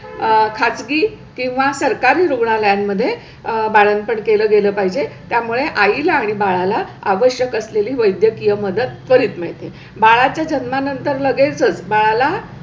अ खासगी किंवा सरकारी रुग्णालयांमध्ये आह बाळंपण केलं गेलं पाहिजे. त्यामुळे आई ला आणि बाळाला आवश्यक असलेली वैद्यकीय मदत करीत मीळते बाळा च्या जन्मानंतर लगेच बाळाला.